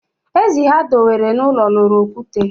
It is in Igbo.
Ezi ha dewere n'ụlọ loro okwute